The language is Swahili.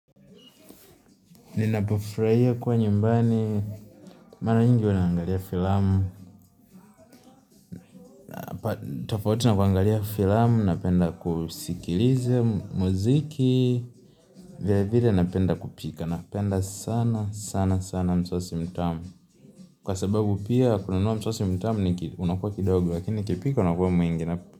Ninapofuraia kuwa nyumbani, mara nyingi wa naangalia filamu, napenda kusikilize muziki, vile vile napenda kupika, napenda sana sana sana msosi mtamu, kwa sababu pia kununua msosi mtamu unakuwa kidogo, lakini ukipika unakuwa mwingi.